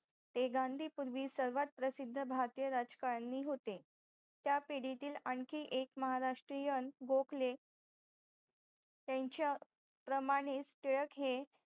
ते गांधी पूर्वी सर्वात प्रसिद्ध भारतीय राजकारणीय होते त्या पिडीतील आणखीएक महाराष्टीयानं बोखले त्यांच्या प्रमाने टिळक हे